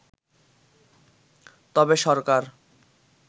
তবে সরকার